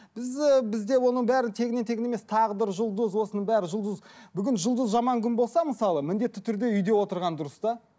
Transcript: біз ыыы бізде оның бәрі тегіннен тегін емес тағдыр жұлдыз осының бәрі жұлдыз бүгін жұлдызы жаман күн болса мысалы міндетті түрде үйде отырған дұрыс та